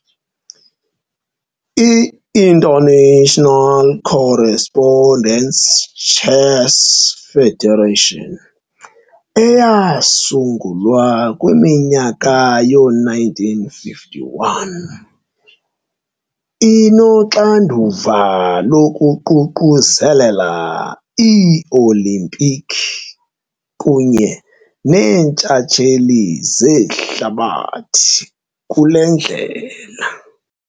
I-International Correspondence Chess Federation eyasungulwa kwi-1951, inoxanduva lokuququzelela ii-Olimpiki kunye neeNtshatsheli zehlabathi kule ndlela.